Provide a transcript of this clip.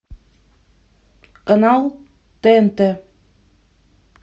канал тнт